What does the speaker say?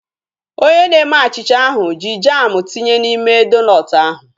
Onye na-eme achịcha ahu ji jamu tinye n'ime donut ahu